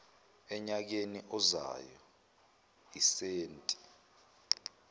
enyakeni ozayo isenti